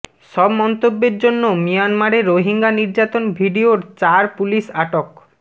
সব মন্তব্যের জন্য মিয়ানমারে রোহিঙ্গা নির্যাতন ভিডিওর চার পুলিশ আটক